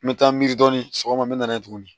N bɛ taa miiri dɔɔni sɔgɔma n bɛ n'a ye tuguni